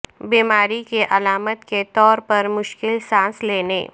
بیماری کی علامت کے طور پر مشکل سانس لینے